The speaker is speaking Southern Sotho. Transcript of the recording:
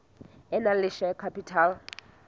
e nang le share capital